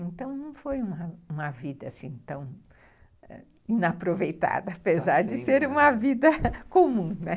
Então, não foi uma vida assim tão inaproveitada, apesar de ser uma vida comum, né.